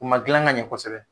U ma dilan ka ɲɛ kosɛbɛ.